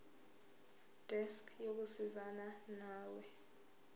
desk yokusizana nawe